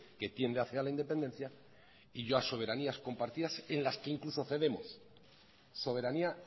que tiende hacia la independencia y yo a soberanía compartidas en las que incluso cedemos soberanía